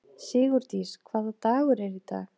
Sigurdís, hvaða dagur er í dag?